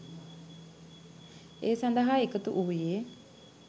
ඒ සඳහා එකතු වූයේ